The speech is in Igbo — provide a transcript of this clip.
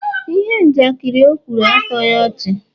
ihe njakịrị o kwuru, atoghị ọchị